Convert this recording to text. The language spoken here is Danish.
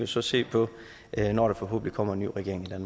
så se på når der forhåbentlig kommer en ny regering i